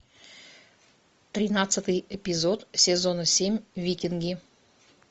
тринадцатый эпизод сезона семь викинги